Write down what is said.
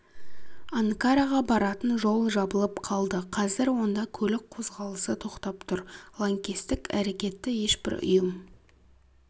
анкараға баратын жол жабылып қалды қазір онда көлік қозғалысы тоқтап тұр лаңкестік әрекетті ешбір ұйым